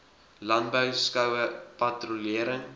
landbou skoue patrolering